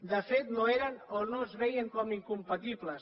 de fet no eren o no es veien com a incompatibles